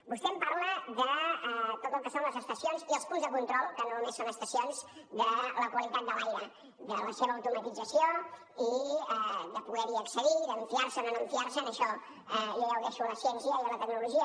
vostè em parla de tot el que són les estacions i els punts de control que no només són estacions de la qualitat de l’aire de la seva automatització de poder hi accedir i de fiar se’n o no fiar se’n això jo ja ho deixo a la ciència i a la tecnologia